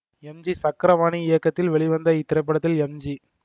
M G Chakrapani இயக்கத்தில் வெளிவந்த இத்திரைப்படத்தில் எம் ஜி